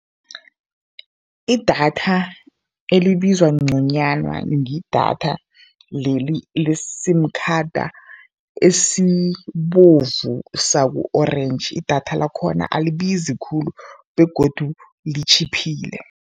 Idatha elibiza ngconywana ngidatha leli le-sim khada esibovu sabu-orentji, idatha lakhona alibizi khulu begodu litjhiphile.